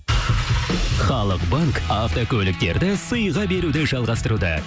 халық банк автокөліктерді сыйға беруді жалғастыруда